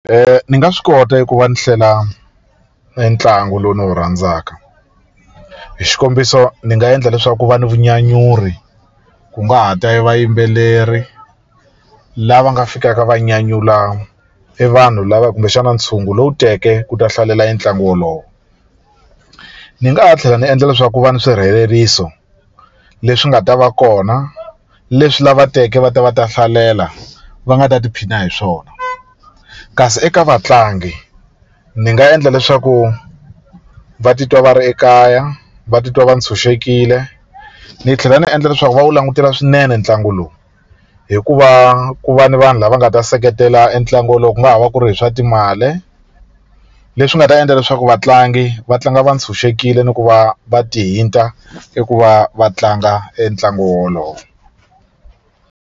ni nga swi kota ku va ni hlela e ntlangu lowu ndzi wu rhandzaka hi xikombiso ndzi nga endla leswaku ku va ni vunyanyuri ku nga ha ta evayimbeleri lava nga fikaka va nyanyula evanhu lava kumbexana ntshungu lowu teke ku ta hlalela entlangu wolowo ndzi nga ha tlhela ndzi endla leswaku ku va ni swirheleriso leswi nga ta va kona leswi lava teke va ta va ta hlalela va nga ta tiphina hi swona kasi eka vatlangi ndzi nga endla leswaku va titwa va ri ekaya va titwa va ntshunxekile ni tlhela ni endla leswaku va wu langutela swinene ntlangu lowu hikuva ku va ni vanhu lava nga ta seketela entlangu wolowo ku nga ha va ku ri hi swa timali leswi nga ta endla leswaku vatlangi va tlanga va ni ntshunxekile ni ku va va ti hinta eku va va tlanga entlangu wolowo.